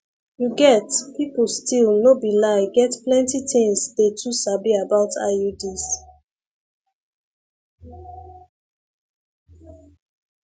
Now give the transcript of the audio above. you get people still no be lie get plenty things dey too sabi about iuds